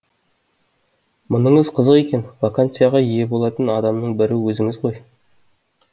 мұныңыз қызық екен вакансияға ие болатын адамның бірі өзіңіз ғой